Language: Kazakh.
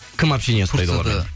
кім общение ұстайды олармен